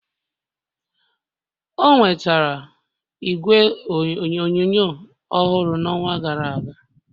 o nwetara igwe onyonyo ọhụrụ n'ọnwa gara aga